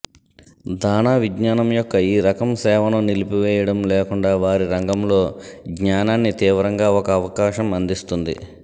దాణా విజ్ఞానం యొక్క ఈ రకం సేవను నిలిపివేయడం లేకుండా వారి రంగంలో జ్ఞానాన్ని తీవ్రంగా ఒక అవకాశం అందిస్తుంది